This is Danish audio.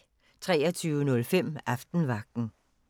23:05: Aftenvagten